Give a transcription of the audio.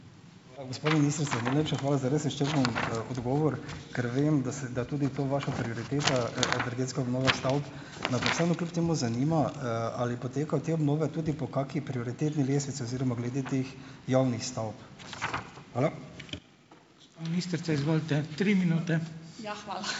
Hvala, gospa ministrica. Najlepša hvala za res izčrpen odgovor, ker vem, da se da tudi to, vaša prioriteta, energetska obnova stavb. Me pa vseeno kljub temu zanima, ali potekajo te obnove tudi po kaki prioritetni lestvici oziroma glede teh javnih stavb. Hvala.